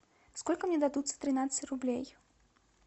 сколько мне дадут за тринадцать рублей